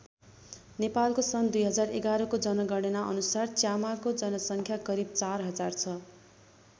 नेपालको सन् २०११ को जनगणना अनुसार च्यामाको जनसङ्ख्या करिब ४००० छ।